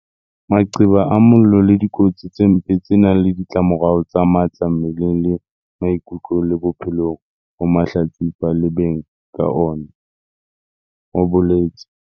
Maqeba a mollo ke dikotsi tse mpe tse nang le ditlamorao tse matla mmeleng le maikutlong le bophelong ho mahlatsipa le beng ka ona, ho boletse.